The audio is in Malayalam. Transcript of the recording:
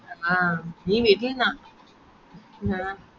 ആഹ് നീ വിട്ടിലെന്നെയാ ആ